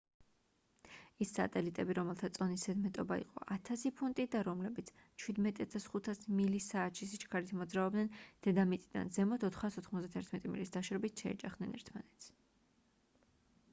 ის სატელიტები რომელთა წონის ზედმეტობა იყო 1,000 ფუნტი და რომლებიც 17,500 მილი საათში სიჩქარით მოძრაობდნენ დედამიწიდან ზემოთ 491 მილის დაშორებით შეეჯახნენ ერთმანეთს